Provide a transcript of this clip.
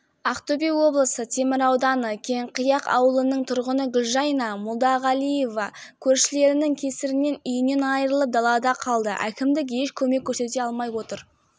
өткен жылдың қыркүйек айында көршіміз жылу қазандығын жөндеп дәнекерлеу жұмыстар кезінде газ атылды сол күні пәтеріміз